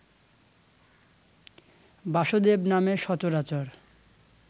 বাসুদেব নামে সচরাচর